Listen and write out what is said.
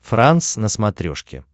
франс на смотрешке